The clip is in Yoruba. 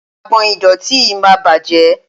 Agbọ̀n ìdọ̀tí yìí máa bàjẹ́.